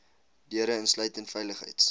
deure insluitend veiligheids